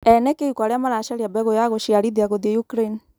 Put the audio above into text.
Ene kĩhiko arĩa maracaria mbegu ya guciarithia guthie Ukraine.